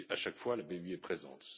À chaque fois la BEI est présente.